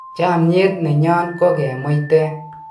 chamiet nenyon ko kemuiten